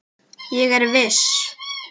Ég er viss.